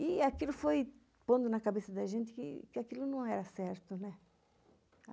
E aquilo foi pondo na cabeça da gente que aquilo não era certo, né?